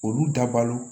Olu dabali